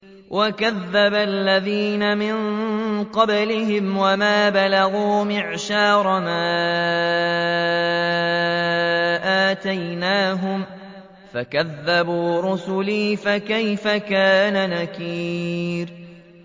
وَكَذَّبَ الَّذِينَ مِن قَبْلِهِمْ وَمَا بَلَغُوا مِعْشَارَ مَا آتَيْنَاهُمْ فَكَذَّبُوا رُسُلِي ۖ فَكَيْفَ كَانَ نَكِيرِ